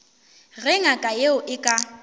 ge ngaka yeo e ka